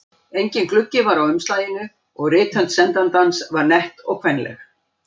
Enginn gluggi var á umslaginu og rithönd sendandans var nett og kvenleg.